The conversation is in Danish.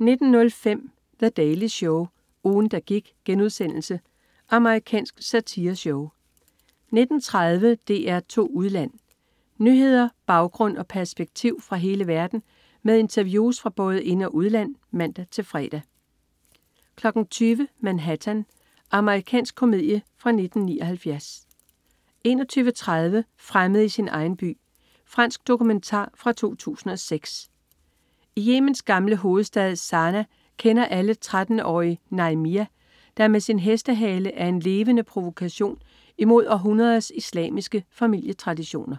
19.05 The Daily Show, ugen, der gik.* Amerikansk satireshow 19.30 DR2 Udland. Nyheder, baggrund og perspektiv fra hele verden med interviews fra både ind- og udland (man-fre) 20.00 Manhattan. Amerikansk komedie fra 1979 21.30 Fremmed i sin egen by. Fransk dokumentar fra 2006. I Yemens gamle hovedstad Sanaa kender alle 13-årige Najmia, der med sin hestehale er en levende provokation imod århundreders islamiske familietraditioner